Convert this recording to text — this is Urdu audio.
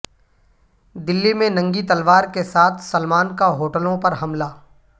دلی میں ننگی تلوار کے ساتھ سلمان کا ہوٹلوں پر حملہ